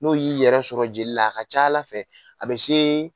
N'o y'i yɛrɛ sɔrɔ jeli la a ka ca Ala fɛ a bɛ se